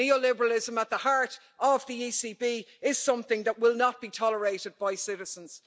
The neoliberalism at the heart of the ECB is something that will not be tolerated by citizens.